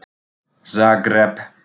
Zagreb